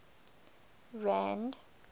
rand